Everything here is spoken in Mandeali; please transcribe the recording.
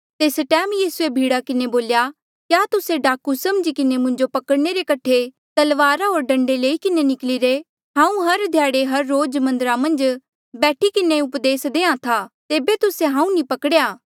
तेस टैम यीसूए भीड़ा किन्हें बोल्या क्या तुस्से डाकू समझी किन्हें मुंजो पकड़णे रे कठे तलवारा होर डंडे लई किन्हें निकली रे हांऊँ हर ध्याड़े हर रोज मन्दरा मन्झ बैठी किन्हें उपदेस देहां था तेबे तुस्से हांऊँ नी पकड़ेया